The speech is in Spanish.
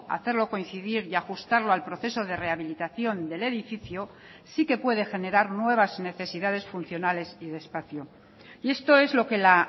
hacerlo coincidir y ajustarlo al proceso de rehabilitación del edificio sí que puede generar nuevas necesidades funcionales y de espacio y esto es lo que la